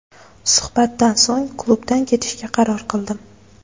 Suhbatdan so‘ng klubdan ketishga qaror qildim.